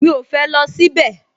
Mi ò fẹ́ lọ síbẹ̀